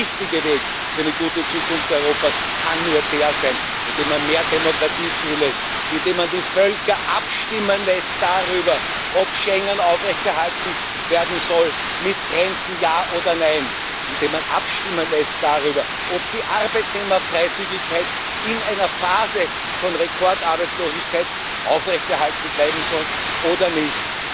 Der richtige Weg für eine gute Zukunft Europas kann nur der sein, dass man mehr Demokratie zulässt, dass man die Völker abstimmen lässt darüber, ob Schengen aufrechterhalten werden soll mit Grenzen, ja oder nein, dass man darüber abstimmen lässt, ob die Arbeitnehmerfreizügigkeit in einer Phase von Rekordarbeitslosigkeit aufrechterhalten werden soll oder nicht.